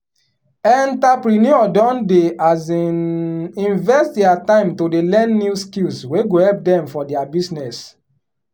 enterpreneur don dey um invest dia time to dey learn new skills wey go help dem for dia business.